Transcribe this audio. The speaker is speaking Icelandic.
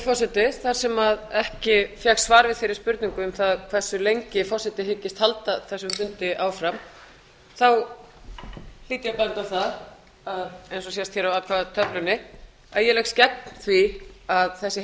forseti þar sem ekki fékkst svar við þeirri spurningu um það hversu lengi forseti hyggist halda þessum fundi áfram hlýt ég að benda á það eins og sést hér á atkvæðatöflunni að ég leggst gegn því að þessi